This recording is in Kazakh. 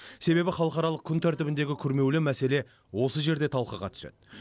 себебі халықаралық күн тәртібіндегі күрмеулі мәселе осы жерде талқыға түседі